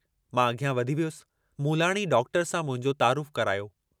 मां अॻियां वधी वियुसि, मूलाणी डॉक्टर सां मुंहिंजो तर करायो।